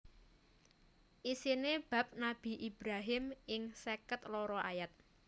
Isiné bab Nabi Ibrahim ing seket loro ayat